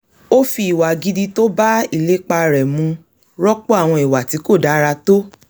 ó fi ìwà gidi tó bá ìlépa rẹ̀ mu rọ́pò àwọn iwà ti ko dára tó